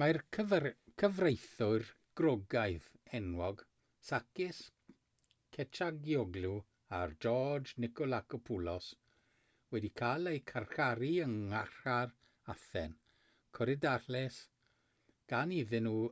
mae'r cyfreithwyr groegaidd enwog sakis kechagioglou a george nikolakopoulos wedi cael eu carcharu yng ngharchar athen korydallus gan iddyn nhw